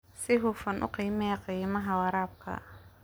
Si hufan u qiimee qiimaha waraabka.